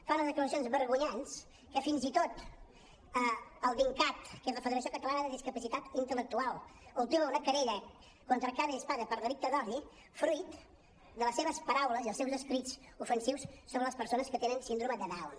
fa unes declaracions vergonyants que fins i tot el dincat que és la federació catalana de discapacitat intel·lectual ultima una querella contra arcadi espada per delicte d’odi fruit de les seves paraules i els seus escrits ofensius sobre les persones que tenen síndrome de down